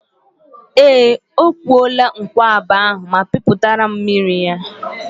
Ee, ọ kwụọla nkwụaba ahụ ma pịpụtara m mmiri ya.